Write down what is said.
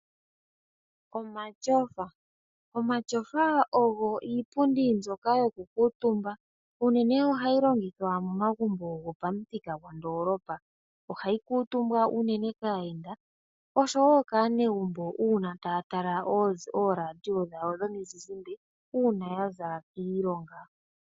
Omashofa, omashofa ogo iipundi mbyoka yoku kuutumba. Unene ohayi longithwa mo magumbo go pamuthika go ndoolopa. Ohayi kuutumbwa unene kaayenda osho wo kaanegumbo uuna taya tala oolandiyo dhawo dhomizizimbe uuna yaza kiilonga.